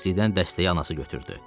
Tərsdən dəstəyi anası götürdü.